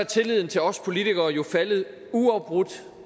tilliden til os politikere jo faldet uafbrudt